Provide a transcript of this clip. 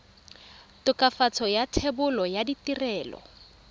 tokafatso ya thebolo ya ditirelo